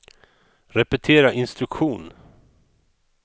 repetera instruktion